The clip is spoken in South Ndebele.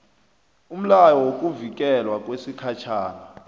umlayo wokuvikelwa wesikhatjhana